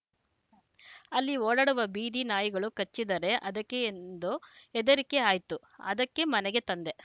ಅಲ್ಲಿ ಓಡಾಡುವ ಬೀದಿ ನಾಯಿಗಳು ಕಚ್ಚಿದರೆ ಅದಕ್ಕೆ ಎಂದು ಹೆದರಿಕೆ ಆಯ್ತು ಅದಕ್ಕೆ ಮನೆಗೆ ತಂದೆ